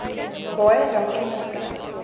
baie dankie mevrou